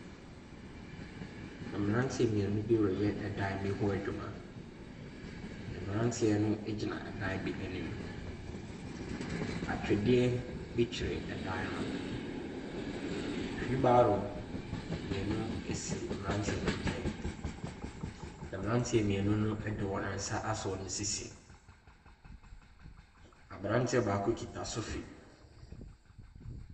Mmranteɛ mmienu bi reyɛ ɛdan ho adwuma. Mmranteɛ no egyina ɛdan bi anim. Atwedeɛ bi twere ɛdan no. Hwiilbaro mmienu esi mmrante no nkyɛn. Mmranteɛ mmienu no ɛde wɔn nsa asɔ wɔn sisi. Abranteɛ baako kita sofi.